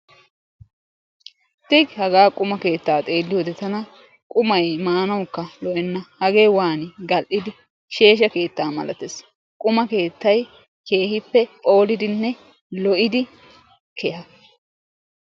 Tey! haga quma keettaa xeeliyoode tana quma maanawukka lo''ena hage waani gal''i sheshsha keettaa malatees. qumaa keetta keehippephoolidinne lo''id keeha.